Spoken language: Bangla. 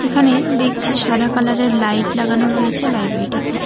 এখানে দেখছি সাদা কালারের লাইট লাগানো রয়েছে লাইব্রেরিটিতে।